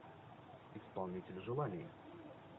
исполнитель желаний